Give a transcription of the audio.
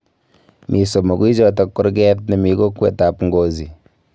Mi somokuichoto korkoret nemi kokwet ab Ngozi